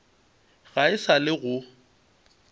ga e sa le go